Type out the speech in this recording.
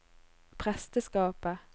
presteskapet